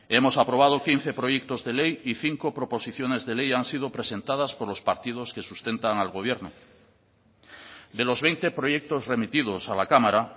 hemos aprobado quince proyectos de ley y cinco proposiciones de ley han sido presentadas por los partidos que sustentan al gobierno de los veinte proyectos remitidos a la cámara